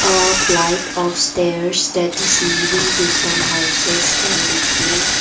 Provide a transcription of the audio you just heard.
uh flight of stairs that is leading to some houses can be seen.